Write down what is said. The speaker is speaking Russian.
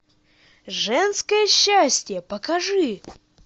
женское счастье покажи